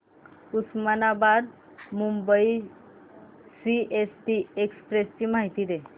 Osmanabad Mumbai CST express ची माहिती दे